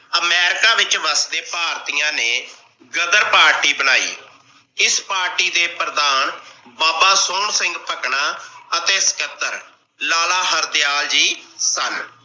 America ਵਿੱਚ ਵਸਦੇ ਭਾਰਤੀਆਂ ਨੇ ਗ਼ਦਰ ਪਾਰਟੀ ਬਣਾਈ । ਇਸ ਪਾਰਟੀ ਦੇ ਪ੍ਰਧਾਨ ਬਾਬਾ ਸੋਹਣ ਸਿੰਘ ਪਕਣਾ ਅਤੇ ਲਾਲਾ ਹਰਦਯਾਲ ਜੀ ਸਨ।